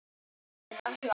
Meiri hlátur.